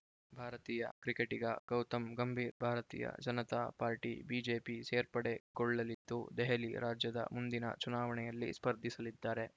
ಭಾರತೀಯ ಕ್ರಿಕೆಟಿಗ Gautam Gambhir Bharatiya Janata party BJP ಸೇರ್ಪಡೆಗೊಳ್ಳಲಿದ್ದು ದೆಹಲಿ ರಾಜ್ಯದ ಮುಂದಿನ ಚುನಾವಣೆಯಲ್ಲಿ ಸ್ಪರ್ಧಿಸಲಿದ್ದಾರೆ